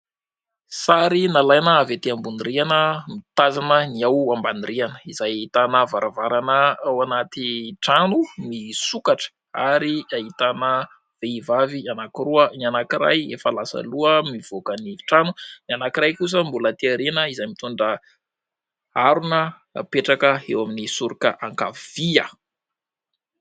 Sary nalaina avy ety ambony rihana mitazana ny eo ambany rihana, izay ahitana varavarana ao anaty trano misokatra ary ahitana vehivavy anankiroa : ny anankiray efa lasa aloha mivoaka ny trano, ny anankiray kosa mbola aty aoriana izay mitondra harona hapetraka eo amin'ny soroka ankavia.